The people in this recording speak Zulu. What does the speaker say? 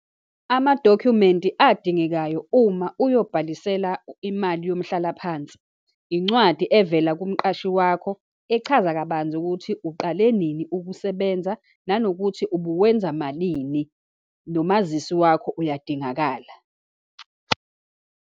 Amadokhumenti adingekayo uma uyobhalisela imali yomhlalaphansi. Incwadi evela kumqashi wakho, echaza kabanzi ukuthi uqale nini ukusebenza, nanokuthi ubuwenza malini, nomazisi wakho uyadingakala.